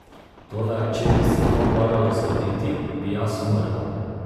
Toda če bi se to moralo zgoditi, bi jaz umrla!